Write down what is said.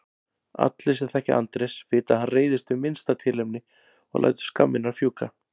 Allir sem þekkja Andrés vita að hann reiðist við minnsta tilefni og lætur skammirnar fjúka.